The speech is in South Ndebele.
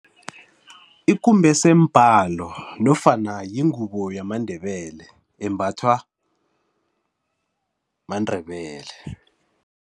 Ikumbese mbalo nofana yingubo yamaNdebele embathwa maNdebele.